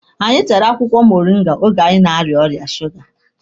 Anyị tara akwụkwọ moringa oge anyị na-aria ọrịa suga.